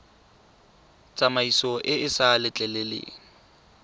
tsamaiso e e sa letleleleng